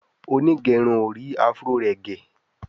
Onigerun or rí afro rẹ gé.